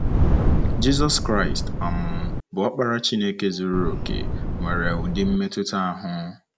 Jizọs Kraịst um, bụ́ Ọkpara Chineke zuru okè, nwere ụdị mmetụta ahụ.